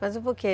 Mas por quê?